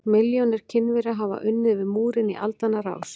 Milljónir Kínverja hafa unnið við múrinn í aldanna rás.